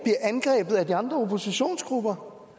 angrebet af de andre oppositionsgrupper